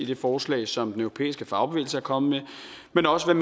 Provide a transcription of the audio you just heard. det forslag som den europæiske fagbevægelse er kommet med men også hvad